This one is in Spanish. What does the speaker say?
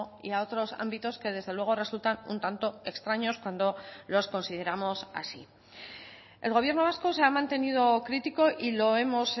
y a otros ámbitos que desde luego resultan un tanto extraños cuando los consideramos así el gobierno vasco se ha mantenido crítico y lo hemos